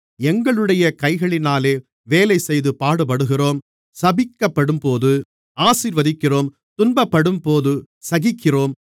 எங்களுடைய கைகளினாலே வேலைசெய்து பாடுபடுகிறோம் சபிக்கப்படும்போது ஆசீர்வதிக்கிறோம் துன்பப்படும்போது சகிக்கிறோம்